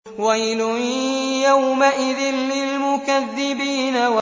وَيْلٌ يَوْمَئِذٍ لِّلْمُكَذِّبِينَ